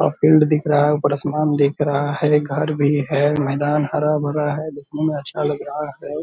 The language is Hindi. बहुत फील्ड दिख रहा है ऊपर आसमान दिख रहा है घर भी है मैदान हरा-भरा है दिखने में अच्छा लग रहा है।